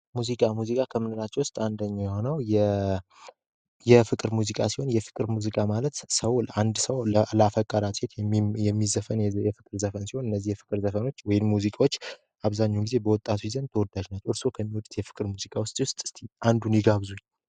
ሙዚቃ ከምንላቸው ውስጥ አንደኛው የሆነው የፍቅር ሙዚቃ ሲሆን የፍቅር ሙዚቃ ማለት ሰው አንድ ሰው ላፈቀራት ሴት የሚዘፈን የፍቅር ዘፈን ሲሆን እነዚህ የፍቅር ዘፈኖች ወይን ሙዚቃዎች አብዛኙን ጊዜ በወጣት ዘንድ ተወዳጅ ናቸው እርስዎ ከሚወዱት የፍቅር ሙዚቃ ውስጥ እስኪ አንዱን ይጋብዙኝ?